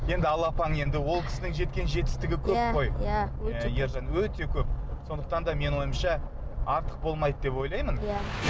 енді алла апаң енді ол кісінің жеткен жетістігі көп қой иә өте көп ержан өте көп сондықтан да менің ойымша артық болмайды деп ойлаймын иә